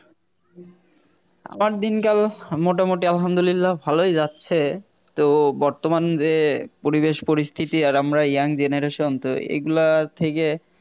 আমার দিনকাল মোটামুটি আলহামদুলিল্লাহ ভালোই যাচ্ছে তো বর্তমান যে পরিবেশ পরিস্থিতি আর আমরা Young generation তো এই গুলার থেকে